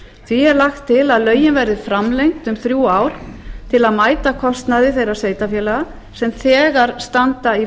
því er lagt til að lögin verði framlengd um þrjú ár til að mæta kostnaði þeirra sveitarfélaga sem þegar standa í